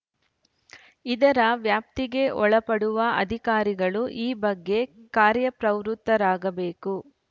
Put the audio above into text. ಇದರ ವ್ಯಾಪ್ತಿಗೆ ಒಳಪಡುವ ಅಧಿಕಾರಿಗಳು ಈ ಬಗ್ಗೆ ಕಾರ್ಯಪ್ರವೃತ್ತರಾಗಬೇಕು